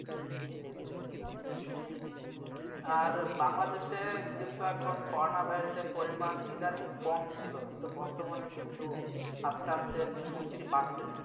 জি জি জি বাংলাদেশে কিন্তু এখন করোনা virus পরিমাণ ইদানীং কম ছিল। কিন্তু বর্তমানে কিন্তু আস্তে আস্তে শুনছি বাড়তেছে।